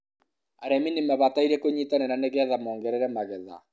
arīmi nīmabataire kūnyitanira nīgetha mogerere magetha